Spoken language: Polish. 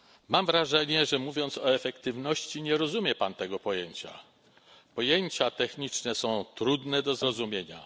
Mam wrażenie, że mówiąc o efektywności nie rozumie Pan tego pojęcia. Pojęcia techniczne są trudne do zrozumienia.